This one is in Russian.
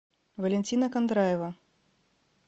валентина кондраева